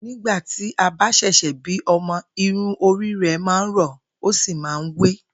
Nígbà tí a bá s̩è̩s̩è̩ bí o̩mo̩, irun orí rè̩ máa rò̩ ó sì máa ń wé̩